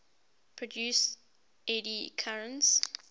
produce eddy currents